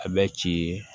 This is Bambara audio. A bɛ ci ye